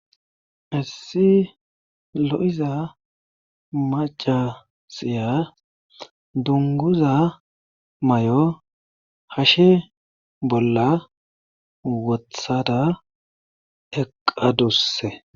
Issi lo7iza maccasiya dungguza mayo hashe bolla wothada eqqaduse.